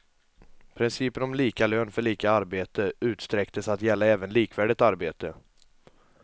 Principen om lika lön för lika arbete utsträcktes att gälla även likvärdigt arbete.